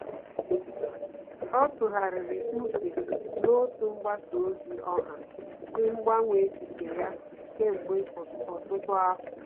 Ọ́ tụ́ghàrị̀rị̀ úchè n’otú mgbasa ozi ọha sí gbanwee echiche ya kèmgbe ọtụ́tụ́ afọ.